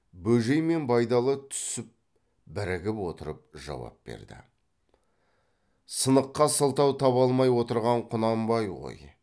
бөжей мен байдалы түсіп бірігіп отырып жауап берді сыныққа сылтау таба алмай отырған құнанбай ғой